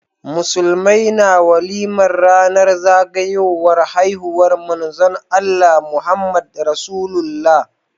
Musulmai na walimar ranar zagayowar haihuwar manzon Allah, Muhammad rasulullah